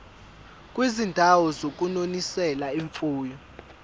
kwizindawo zokunonisela imfuyo